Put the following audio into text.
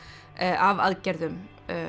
af aðgerðum